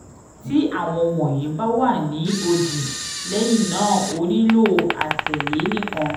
ti awọn wọnyi ba wa ni odi lẹhinna o nilo atẹle nikan